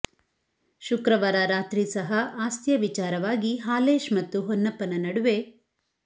ಶುಕ್ರವಾರ ರಾತ್ರಿ ಸಹ ಆಸ್ತಿಯ ವಿಚಾರವಾಗಿ ಹಾಲೇಶ್ ಮತ್ತು ಹೊನ್ನಪ್ಪನ ನಡುವೆ